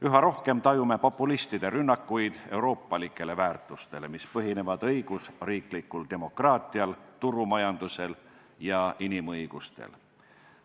Üha rohkem tajume populistide rünnakuid euroopalikele väärtustele, mis põhinevad õigusriiklikul demokraatial, turumajandusel ja inimõigustel.